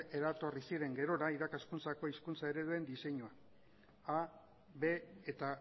eratorri ziren gerora irakaskuntzako hizkuntza ereduen diseinua a b eta